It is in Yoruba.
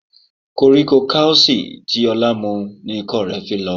Koríko kausi tí Ọlá mu ni ikọ́ rẹ̀ fi lọ.